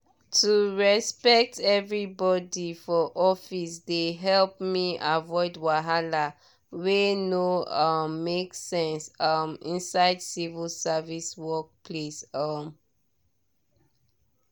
to respect everybody for office dey help me avoid wahala wey no um make sense um inside civil service work place. um